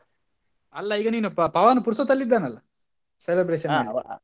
ಅಲ್ಲ ಈಗ ನೀನು ಪ~ ಪವನ್ ಪುರ್ಸೊತ್ ಅಲ್ಲಿ ಇದ್ದಾನೆ ಅಲ್ಲ, celebration .